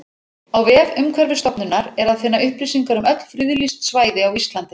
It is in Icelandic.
Á vef Umhverfisstofnunar er að finna upplýsingar um öll friðlýst svæði á Íslandi.